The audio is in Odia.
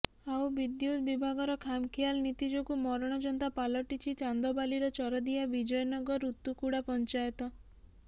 ଆଉ ବିଦ୍ୟୁତ୍ ବିଭାଗର ଖାମଖିଆଲ ନୀତି ଯୋଗୁଁ ମରଣ ଯନ୍ତା ପାଲଟିଛି ଚାନ୍ଦବାଲିର ଚରଦିଆ ବିଜୟନଗର ଉତୁକୁଡା ପଂଚାୟତ